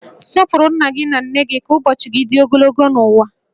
Sọpụrụ nna gị na nne gị ka ụbọchị gị dị ogologo n'ụwa